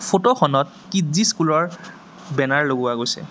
Photo খনত Kidzee school ৰ banner লগোৱা গৈছে।